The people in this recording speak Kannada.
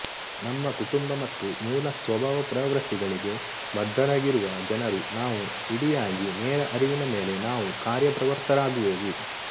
ನಮ್ಮ ಕುಟುಂಬ ಮತ್ತು ಮೂಲ ಸ್ವಭಾವ ಪ್ರವೃತ್ತಿಗಳಿಗೆ ಬದ್ಧರಾಗಿರುವ ಜನರು ನಾವು ಇಡಿಯಾಗಿ ನೇರ ಅರಿವಿನ ಮೇಲೆ ನಾವು ಕಾರ್ಯಪ್ರವೃತ್ತರಾಗುವೆವು